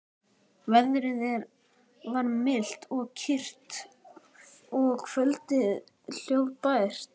Veðrið var milt og kyrrt og kvöldið hljóðbært.